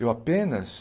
Eu apenas...